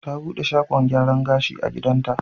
Ta buɗe shagon gyaran gashi a gidanta.